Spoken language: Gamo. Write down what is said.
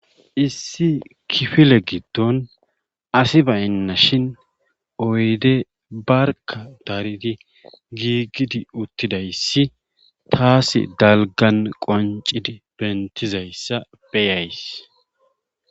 Issi kifile giddon asi baynnashin oyde barkkadaridi giigidi uttidayssi taasi dalggan qonccidi benttidyzassa beyays.